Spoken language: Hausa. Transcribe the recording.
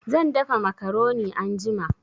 Zan dafa macaroni anjima